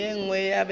ye nngwe ba be ba